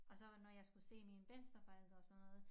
Og så var når jeg skulle se mine bedsteforældre og sådan noget